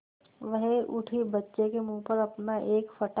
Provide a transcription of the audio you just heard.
वह उठी बच्चे के मुँह पर अपना एक फटा